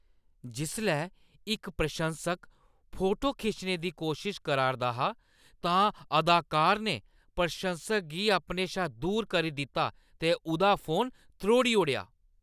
जिसलै इक प्रसंशक फोटो खिच्चने दी कोशश करा 'रदा हा तां अदाकार ने प्रशंसक गी अपने शा दूर करी दित्ता ते उʼदा फोन त्रोड़ी ओड़ेआ